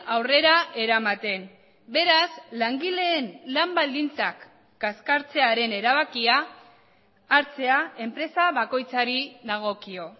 aurrera eramaten beraz langileen lan baldintzak kaskartzearen erabakia hartzea enpresa bakoitzari dagokio